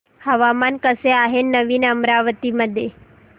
हवामान कसे आहे नवीन अमरावती मध्ये